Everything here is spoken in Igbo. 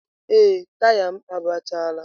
Ee, taya m agbachaala.